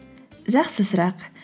жақсы сұрақ